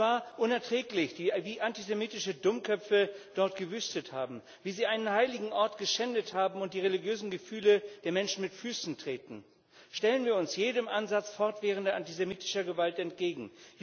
Es war unerträglich, wie antisemitische Dummköpfe dort gewütet haben, wie sie einen heiligen Ort geschändet haben und die religiösen Gefühle der Menschen mit Füßen treten. Stellen wir uns jedem Ansatz fortwährender antisemitischer Gewalt entgegen!